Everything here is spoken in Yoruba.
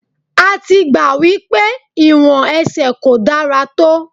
A ti gbà wípé ìwọ̀n ẹsẹ̀ kò dára tó.